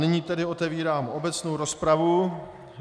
Nyní tedy otevírám obecnou rozpravu.